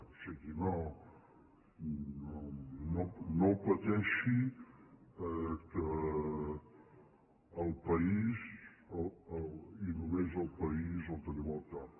o sigui no pateixi que el país i només el país el tenim al cap